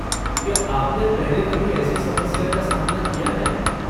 क्या आपने पहले कभी ऐसी समस्या का सामना किया है?